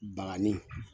Bakanni